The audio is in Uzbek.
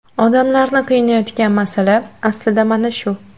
Odamlarni qiynayotgan masala aslida mana shu.